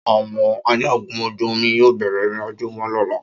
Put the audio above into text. Áwọn ajagun ojú omi yóò bẹ̀rẹ̀ ìrìnàjò wọn lọ́la